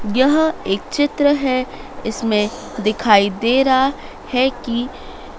यह एक चित्र है इसमें दिखाई दे रहा है कि--